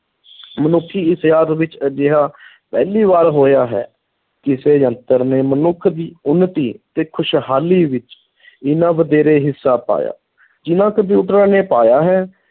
ਮਨੁੱਖੀ ਇਤਿਹਾਸ ਵਿੱਚ ਅਜਿਹਾ ਪਹਿਲੀ ਵਾਰ ਹੋਇਆ ਹੈ ਕਿਸੇ ਯੰਤਰ ਨੇ ਮਨੁੱਖ ਦੀ ਉੱਨਤੀ ਤੇ ਖ਼ੁਸ਼ਹਾਲੀ ਵਿੱਚ ਇੰਨਾ ਵਧੇਰੇ ਹਿੱਸਾ ਪਾਇਆ, ਜਿੰਨਾਂ ਕੰਪਿਊਟਰਾਂ ਨੇ ਪਾਇਆ ਹੈ,